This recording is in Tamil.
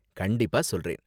கண்டிப்பா சொல்றேன்!